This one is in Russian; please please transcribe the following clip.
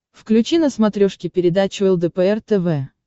включи на смотрешке передачу лдпр тв